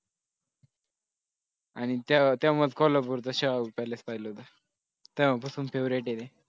आणि त्यामुळेच कोल्हापूरच्या चहा उकळल्यास पाहिला होता तेव्हापासून favorite आहे